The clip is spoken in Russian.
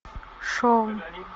шоу